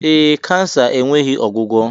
Ee, kansa enweghị ọgwụgwọ